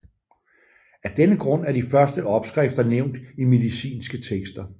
Af denne grund er de første opskrifter nævnt i medicinske tekster